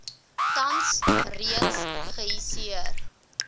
tans reeds geihisieer